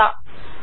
आता ओके